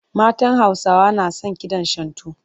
Matan Hausawa na son kidan Shantu.